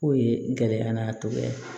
K'o ye gɛlɛya an n'a tɔgɔ ye